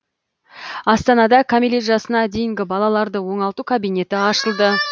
астанада кәмелет жасына дейінгі балаларды оңалту кабинеті ашылды